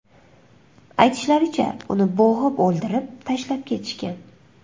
Aytishlaricha, uni bo‘g‘ib o‘ldirib, tashlab ketishgan.